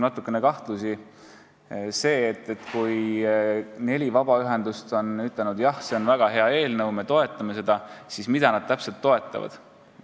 Neli vabaühendust on ütelnud, et see on väga hea eelnõu ja nad toetavad seda, aga mul on tekkinud küsimus, mida nad täpselt toetavad.